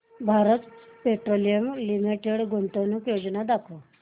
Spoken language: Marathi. भारत पेट्रोलियम लिमिटेड गुंतवणूक योजना दाखव